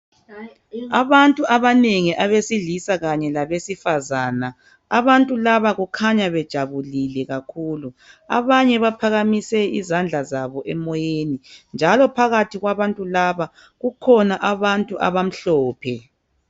Abantu abanengi abesilisa kanye labesifazana. Abantu laba kukhanya bejabulile kakhulu. Abanye baphakamise izandla zabo emoyeni njalo phakathi kwabantu laba kukhona abantu abamhlophe